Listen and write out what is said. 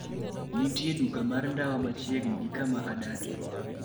Kama nitie duka mar ndawa machiegni gi kama adakie